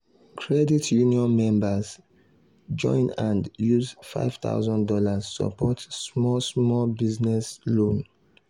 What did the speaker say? credit union members join hand use five thousand dollars support small small business loan.